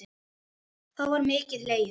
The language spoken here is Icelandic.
þá var mikið hlegið.